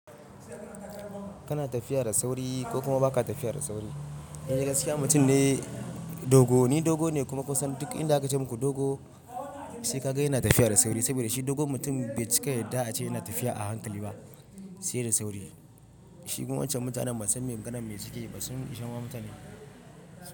Kana tafiya da sauri ko kuma ba ka tafiya da sauri. In dai gaskiya mutum ne dogo, ni dogo ne kuma kusan duk inda aka ce muku dogo sai ka ga yana tafiya da sauri. Saboda shi dogo mutum bai cika yadda aka ce yana tafiya a hankali ba, sai da sauri. Su kuma wancan mutanen ban san me maganan me suke yi ba, sun ishe ma mutane.